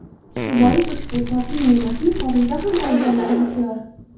Shu bois ushbu totli ne’matning xorijda ham xaridorlari bisyor.